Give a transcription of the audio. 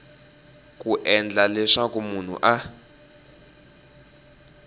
ku endla leswaku munhu a